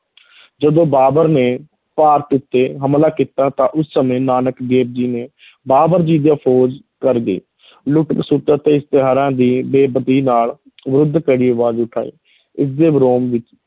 ਜਦੋਂ ਬਾਬਰ ਨੇ ਭਾਰਤ ਉੱਤੇ ਹਮਲਾ ਕੀਤਾ ਤਾਂ ਉਸ ਸਮੇਂ ਨਾਨਕ ਦੇਵ ਜੀ ਨੇ ਬਾਬਰ ਫੌਜ ਕਰ ਗਏ ਲੁੱਟ-ਖਸੁੱਟ ਅਤੇ ਇਸ਼ਤਰੀਆਂ ਦੀ ਬੇ-ਪਤੀ ਨਾਲ ਵਿਰੁੱਧ ਕਰੜੀ ਆਵਾਜ਼ ਉਠਾਈ ਇਸਦੇ ਵਿੱਚ,